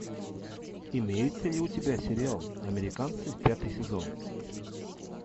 имеется ли у тебя сериал американцы пятый сезон